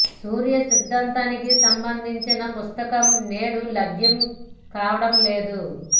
సూర్య సిద్ధాంతానికి సంబంధించిన పుస్తకం నేడు లభ్యం కావడం లేదు